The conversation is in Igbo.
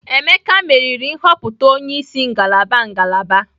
Emeka meriri nhọpụta onye isi ngalaba ngalaba.